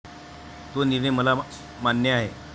तो निर्णय मला मान्य आहे.